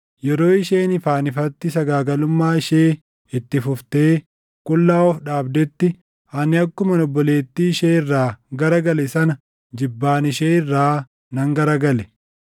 Yeroo isheen ifaan ifatti sagaagalummaa ishee itti fuftee qullaa of dhaabdetti, ani akkuman obboleettii ishee irraa gara gale sana jibbaan ishee irraa nan gara gale.